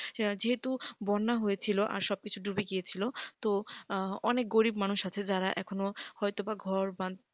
যেহেতু বন্যা হয়েছিল আর সব কিছু ডুবে গিয়েছিল তো অনেক গরীব মানুষ আছে যারা এখনো হয়তো বা ঘর বাঁধতে,